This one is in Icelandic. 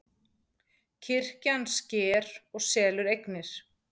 Kirkjan sker og selur eignir